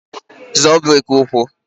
Zọọ breki ụkwụ!